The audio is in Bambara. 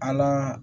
An ka